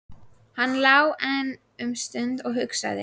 Hann lá enn um stund og hugsaði.